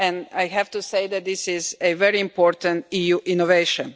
I have to say that this is a very important EU innovation.